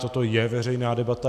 Toto je veřejná debata.